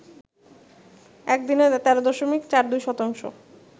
একদিনে ১৩ দশমিক ৪২ শতাংশ